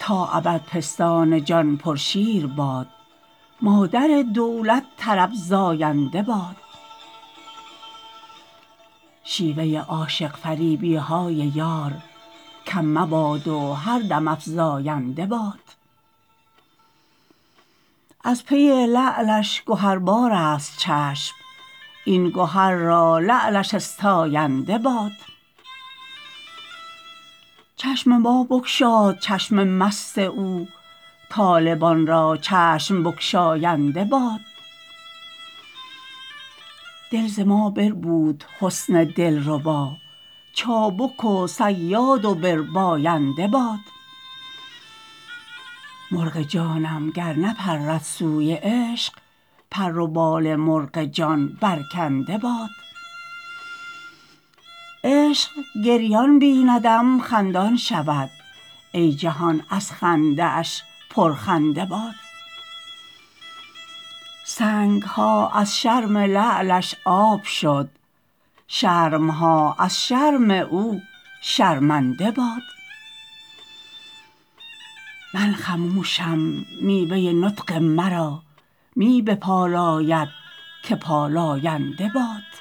تا ابد پستان جان پرشیر باد مادر دولت طرب زاینده باد شیوه عاشق فریبی های یار کم مباد و هر دم افزاینده باد از پی لعلش گهربارست چشم این گهر را لعلش استاینده باد چشم ما بگشاد چشم مست او طالبان را چشم بگشاینده باد دل ز ما بربود حسن دلربا چابک و صیاد و برباینده باد مرغ جانم گر نپرد سوی عشق پر و بال مرغ جان برکنده باد عشق گریان بیندم خندان شود ای جهان از خنده اش پرخنده باد سنگ ها از شرم لعلش آب شد شرم ها از شرم او شرمنده باد من خموشم میوه نطق مرا می بپالاید که پالاینده باد